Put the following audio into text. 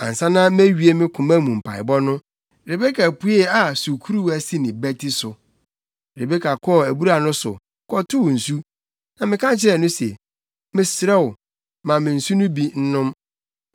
“Ansa na mewie me koma mu mpaebɔ no, Rebeka puee a sukuruwa si ne bati so. Rebeka kɔɔ abura no so, kɔtow nsu, na meka kyerɛɛ no se, ‘Mesrɛ wo, ma me nsu no bi nnom.’